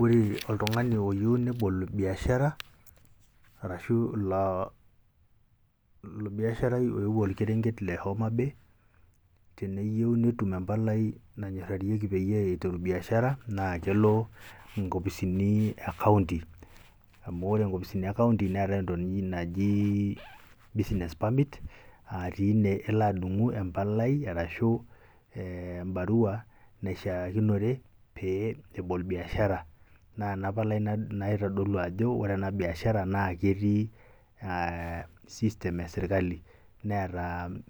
ore oltung'ani oyieu nebol biashara arashu loo olbiaharai oewuo olkerenket le homabay teneyieu netum empalai nanyorarieki peyie eiteru biashara, naa kelo nkopisini e [cs[county amu ore nkopisini e county neetae entoki naj naji business parmit a tine elo adung'u empalai arashu embarua naishaakiro pee ebol biashara naa ena palai naitodolu ajo ore bishara naa ketii eeh system e serkali.. neeta